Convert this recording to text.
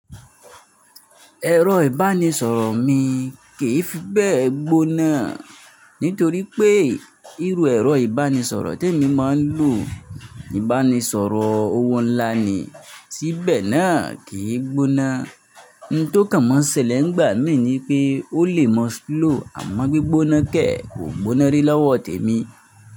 Ẹ̀rọ ìbánisọ̀rọ̀ mi kìí fi bẹ́ẹ̀ gbónáa nítorí pé irú ẹ̀rọ ìbánisọ̀rọ̀ tí èmi máa ń lò, ìbánisọ̀rọ̀ owó ńlá ni, si bẹ́ẹ̀ náà kì í gbóná. N tó kàn mọ́ n sẹ lẹ́ n gbàá mi ní wipé ó lè mọ́ slow àmọ́ gbígbóná kẹ̀ kò gbóná rí lọ́wọ́ tèmi.